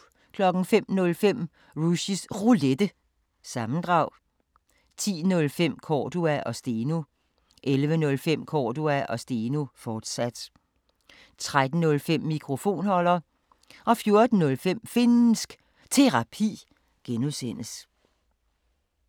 05:05: Rushys Roulette – sammendrag 10:05: Cordua & Steno 11:05: Cordua & Steno, fortsat 13:05: Mikrofonholder 14:05: Finnsk Terapi (G)